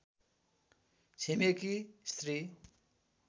छिमेकी स्त्री